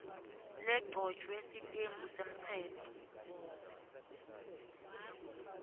legcotjwe sitembu semtsetfo